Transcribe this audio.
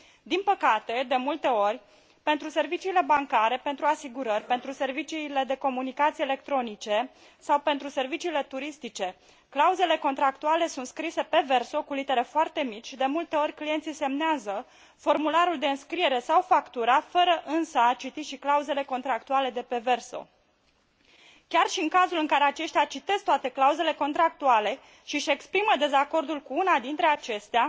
Din păcate, de multe ori, pentru serviciile bancare, pentru asigurări, pentru serviciile de comunicații electronice sau pentru serviciile turistice clauzele contractuale sunt scrise pe verso, cu litere foarte mici, și de multe ori clienții semnează formularul de înscriere sau factura fără însă a citi și clauzele contractuale de pe verso. Chiar și în cazurile în care aceștia citesc toate clauzele contractuale și își exprimă dezacordul cu una dintre acestea,